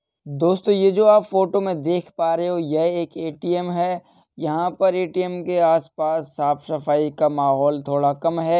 दोस्तों ये जो आप फोटो में देख पा रहे हो ये एक एटीएम है। यहाँ पर एटीएम के आस-पास साफ सफाई का माहोल थोडा कम है।